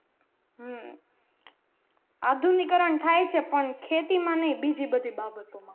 હમ આધુનિકરણ થાય છે પણ ખેતી માં નઈ બીજી બધી બાબતો માં